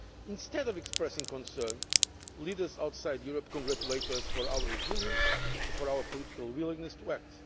Instead of expressing concern, leaders outside Europe congratulate us on our resilience and for our political willingness to act.